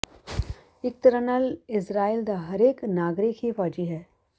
ਇੱਕ ਤਰ੍ਹਾਂ ਨਾਲ ਇਜ਼ਰਾਈਲ ਦਾ ਹਰੇਕ ਨਾਗਰਿਕ ਹੀ ਫੌਜੀ ਹੈ